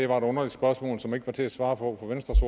var et underligt spørgsmål som det ikke var til at svare på for venstres